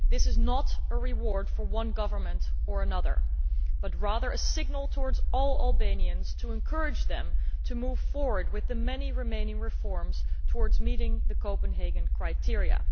This is not a reward for one government or another, but rather a signal to all Albanians to encourage them to move forward with the many remaining reforms towards meeting the Copenhagen criteria.